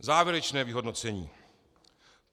Závěrečné vyhodnocení.